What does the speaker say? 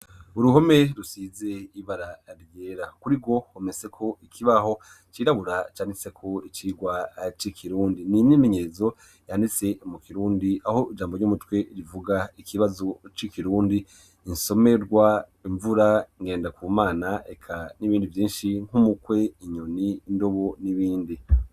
Uruhome rusize ibara ryera. Kuri rwo hometseko ikibaho cirabura canditseko icigwa c'ikirundi. Ni imyimenyezo yanditse mu kirundi aho ijambo ry'umutwe rivuga ikibazo c'ikirundi, insomerwa imvura, Ngendakumana eka n'ibindi vyinshi nk'umukwe, inyoni, indobo, n'ibindi